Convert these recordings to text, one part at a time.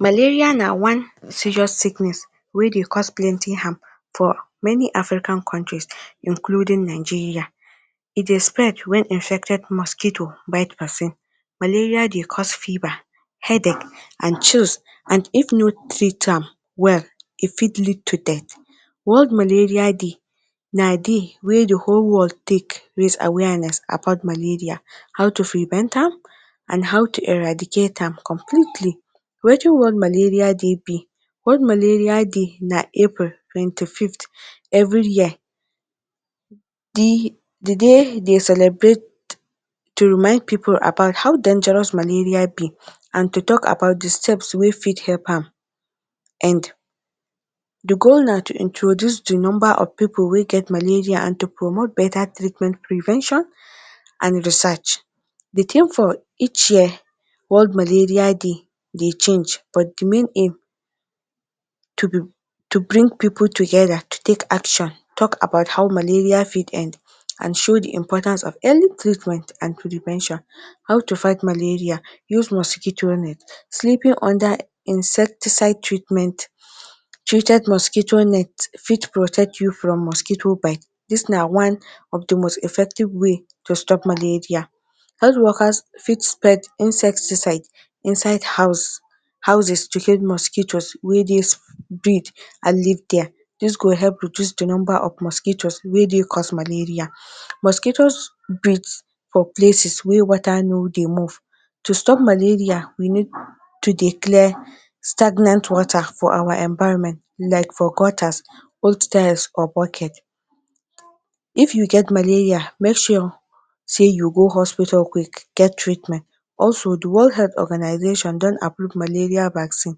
Malaria na one serious sickness wey dey cause plenty harm for many African countries including Nigeria. E dey spread when infected mosquito bite pesin. Malaria dey cause fever, headache and and if no treat am well e fit lead to death. World Malaria Day na day wey dey whole world take raise awareness about malaria, how to prevent am and how to eradicate am completely. Wetin World Malaria Day be? World Malaria Day na April twenty-fifth every year. Di day dey celebrate to remind pipul about how dangerous malaria be and to talk about dey steps wey fit help am end. Di goal na to introduce dey number of pipul wey get malaria and to promote better treatment, prevention and research, di theme of each year world malaria day dey change but di main aim na to bring pipul together, to take action, talk about how malaria fit end and show di importance of any treatment and prevention. How to fight malaria; use mosquito net- sleeping under any insecticides treatment treated mosquito net fit protect you from mosquito bite. Dis na one of dey most effective way to stop malaria. Health workers fit spread insecticides inside house, houses to kill mosquitoes wey dey breed and live there, dis go help reduce di number of mosuitoes wey dey cause malaria. Mosquitoes breed for places wey water no dey move. To stop malaria we need to dey clear stagnant water for our environment like for gutters, hostels or boarding. If you get malaria make sure sey you go hospital quick get treatment also dey world health organization don approve malaria vaccines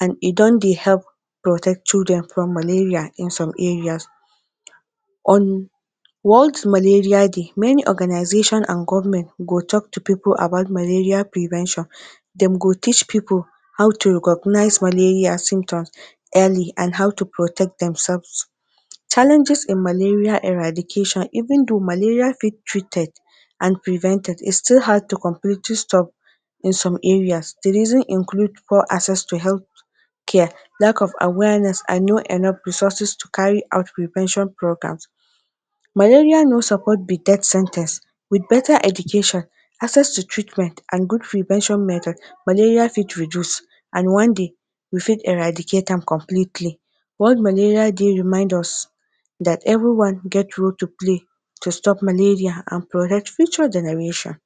and e don dey help protect children from malaria in some area. On World’s Malaria Day, many organization and government go talk to pipul about malaria prevention, dem go teach people how to recognize malaria symptoms early and how to protect demselves. Challenges in malaria eradication; even though malaria fit treated and prevented, its still hard to completely stop in some areas. Dey reason include- poor access to health care, lack of awareness and no enough resources to carry out prevention programs. Malaria no suppose be death sen ten ce, with better education, access to treatment and good prevention method, malaria fit reduce and one day we fit eradicate am completely. World Malaria Day remind us dat everyone get role to play to stop malaria and protect future generation.